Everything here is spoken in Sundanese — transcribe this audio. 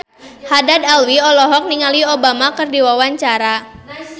Haddad Alwi olohok ningali Obama keur diwawancara